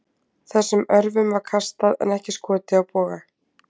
Þessum örvum var kastað en ekki skotið af boga.